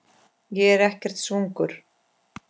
Ég er ekkert svangur